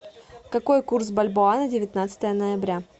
какой курс бальбоа на девятнадцатое ноября